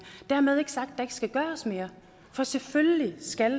dermed ikke sagt at der ikke skal gøres mere for selvfølgelig skal